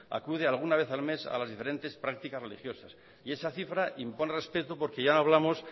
acude alguna vez al mes a las diferentes prácticas religiosas y esa cifra impone respeto porque ya no hablamos